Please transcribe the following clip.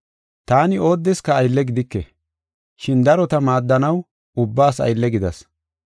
Taani oodeska aylle gidike, shin darota maaddanaw ubbaas aylle gidas.